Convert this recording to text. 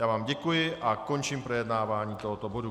Já vám děkuji a končím projednávání tohoto bodu.